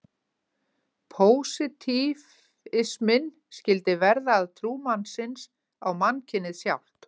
Pósitífisminn skyldi verða að trú mannsins á mannkynið sjálft.